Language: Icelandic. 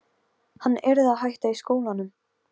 Hann yrði að hætta í skólanum!